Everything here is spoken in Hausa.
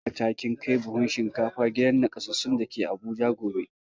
Ki tabbata kin kai buhun shinkafa gidan nakasassun da ke Abuja gobe!